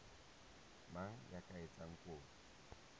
mang ya ka etsang kopo